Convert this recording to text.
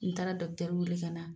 N taara wele ka na.